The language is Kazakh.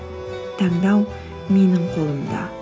таңдау менің қолымда